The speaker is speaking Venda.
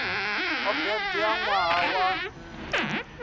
o bebwa ṋwaha wa nndwa